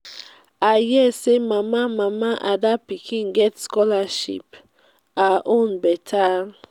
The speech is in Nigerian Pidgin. i hear say mama mama ada pikin get scholarship. her own beta.